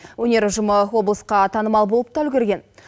өнер ұжымы облысқа танымал болып та үлгерген